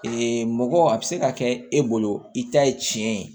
Ee mɔgɔ a bi se ka kɛ e bolo i ta ye tiɲɛ ye